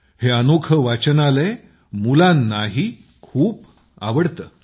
हे अनोखे वाचनालय मुलांनाही खूप आवडते